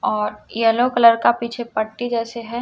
और yellow colour का पीछे पट्टी जैसे है।